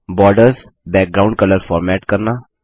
borders background colour format करना